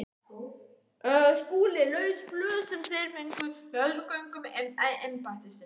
SKÚLI: Laus blöð sem þér fenguð með öðrum gögnum embættisins.